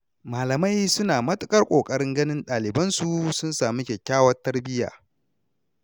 Malamai suna matuƙar ƙoƙarin ganin ɗalibansu sun sami kyakkyawar tarbiyya.